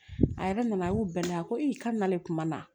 A yɛrɛ nana a y'u bɛɛ la ko i ka na ne kuma na